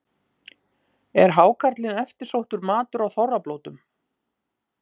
Er hákarlinn eftirsóttur matur á þorrablótum?